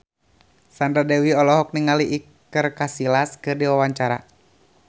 Sandra Dewi olohok ningali Iker Casillas keur diwawancara